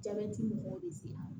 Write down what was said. Jabɛti mɔgɔw bɛ se a ma